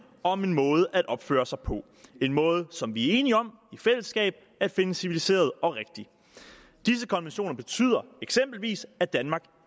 om en måde at opføre sig på en måde som vi er enige om i fællesskab at finde civiliseret og rigtig disse konventioner betyder eksempelvis at danmark